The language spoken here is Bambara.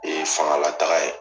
fanga lataga ye.